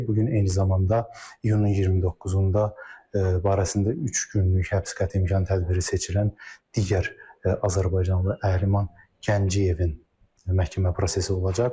Bu gün eyni zamanda iyunun 29-da barəsində üç günlük həbs qətimkan tədbiri seçilən digər azərbaycanlı Əhliman Gəncəyevin məhkəmə prosesi olacaq.